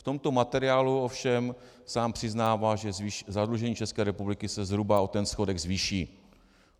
V tomto materiálu ovšem sám přiznává, že zadlužení České republiky se zhruba o ten schodek zvýší.